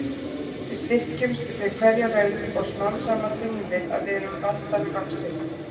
Við styrkjumst við hverja raun og smám saman finnum við að við erum vandanum vaxin.